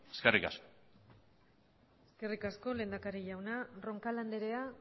ere eskerrik asko eskerrik asko lehendakari jauna roncal andrea